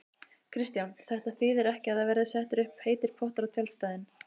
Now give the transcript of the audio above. Kristján: Þetta þýðir ekki að það verði settir upp heitir pottar á tjaldstæðin?